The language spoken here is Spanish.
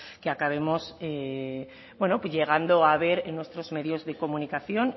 que acabemos bueno llegando a ver en nuestros medios de comunicación